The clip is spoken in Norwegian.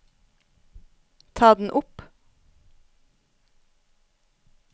ta den opp